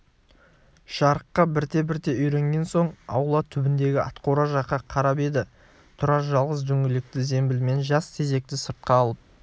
жарыққа бірте-бірте үйренген соң аула түбіндегі атқора жаққа қарап еді тұрар жалғыз дөңгелекті зембілмен жас тезекті сыртқа алып